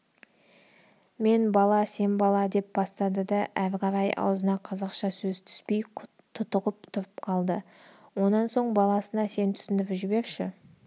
мен бала сен бала деп бастады да әрі қарай аузына қазақша сөз түспей тұтығып тұрып қалды онан соң баласына сен түсіндіріп жіберші